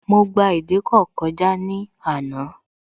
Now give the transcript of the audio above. Mo gba ìdíkọ̀ kọjá ní àná